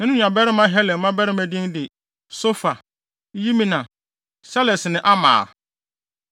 Na ne nuabarima Helem mmabarima din de: Sofa, Yimna, Seles ne Amal.